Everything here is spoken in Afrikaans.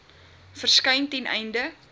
verskyn ten einde